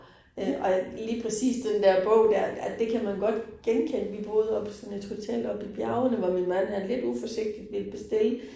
Øh og jeg lige præcis den der bog dér øh det kan man godt genkende, vi boede oppe på sådan et hotel oppe i bjergene, hvor min mand han lidt uforsigtigt ville bestille